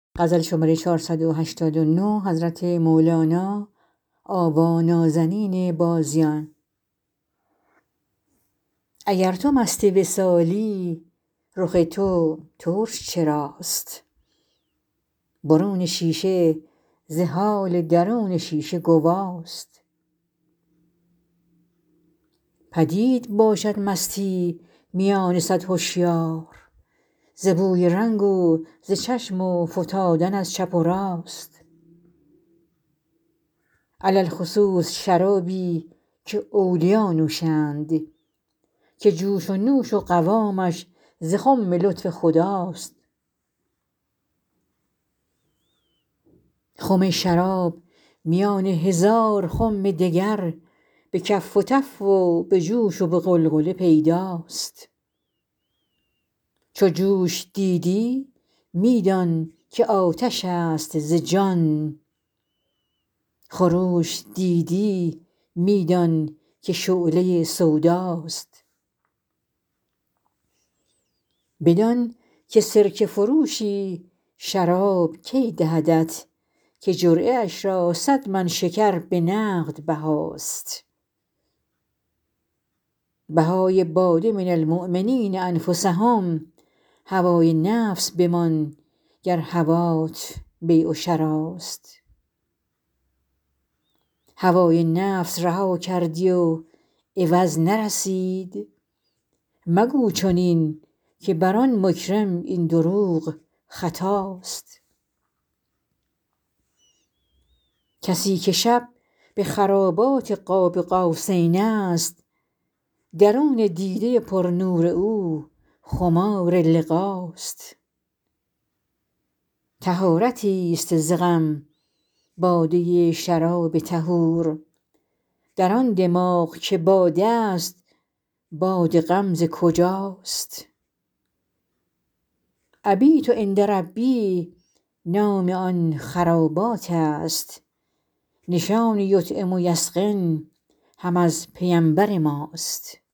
اگر تو مست وصالی رخ تو ترش چراست برون شیشه ز حال درون شیشه گوا ست پدید باشد مستی میان صد هشیار ز بوی رنگ و ز چشم و فتادن از چپ و راست علی الخصوص شرابی که اولیا نوشند که جوش و نوش و قوامش ز خم لطف خدا ست خم شراب میان هزار خم دگر به کف و تف و به جوش و به غلغله پیدا ست چو جوش دیدی می دان که آتش ست ز جان خروش دیدی می دانک شعله سودا ست بدانک سرکه فروشی شراب کی دهدت که جرعه اش را صد من شکر به نقد بها ست بهای باده من المؤمنین انفسهم هوای نفس بمان گر هوات بیع و شراست هوای نفس رها کردی و عوض نرسید مگو چنین که بر آن مکرم این دروغ خطا ست کسی که شب به خرابات قاب قوسین ست درون دیده پرنور او خمار لقا ست طهارتی ست ز غم باده شراب طهور در آن دماغ که باده است باد غم ز کجاست ابیت عند ربی نام آن خرابات است نشان یطعم و یسقن هم از پیمبر ماست